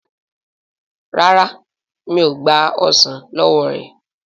ràrá mi'o gba ọsán ló wọ rẹ.